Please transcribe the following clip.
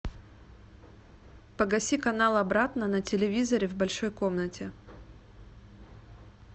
погаси канал обратно на телевизоре в большой комнате